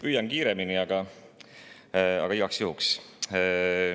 Püüan teha kiiremini, aga igaks juhuks küsisin.